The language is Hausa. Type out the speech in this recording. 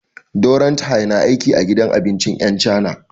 Dorathy na aiki a gidan abincin 'yan cana.